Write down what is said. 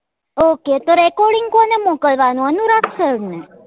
OkayRecording કોને મોકલવા નું અનુરાગ sir ને?